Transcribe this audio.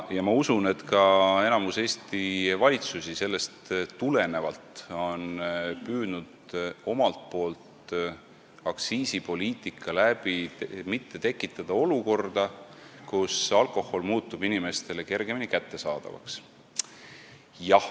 Ma usun, et ka enamik Eesti valitsusi on sellest tulenevalt püüdnud omalt poolt aktsiisipoliitikaga mitte tekitada olukorda, kus alkohol muutub inimestele kergemini kättesaadavaks.